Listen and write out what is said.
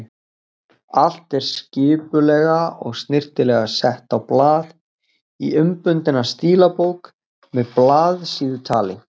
Allt er skipulega og snyrtilega sett á blað, í innbundna stílabók með blaðsíðutali.